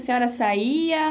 A senhora saía?